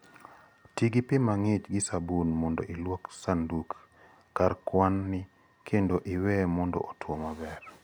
Ti gi pi mang'ich gi sabun mondo ilwokie sanduk/kar kwan-ni kendo iweye mondo otwo maber.